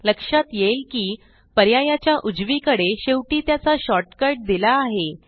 लक्षात येईल की पर्यायाच्या उजवीकडे शेवटी त्याचा शॉर्टकट दिला आहे